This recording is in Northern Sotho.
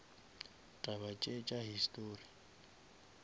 taba tše tša histori